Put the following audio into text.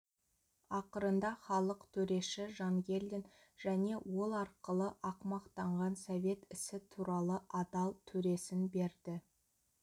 ақырында халық төреші жангелдин және ол арқылы ақымақтанған совет ісі туралы адал төресін берді